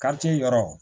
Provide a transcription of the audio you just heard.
yɔrɔ